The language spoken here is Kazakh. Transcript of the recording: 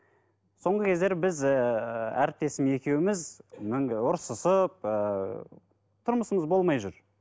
соңғы кездері біз ііі әріптесім екеуміз ұрсысып ііі тұрмысымыз болмай жүр